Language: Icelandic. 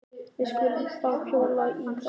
Við skulum þá hjóla í þá saman.